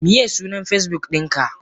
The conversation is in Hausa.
Miye sunan Facebook dinka?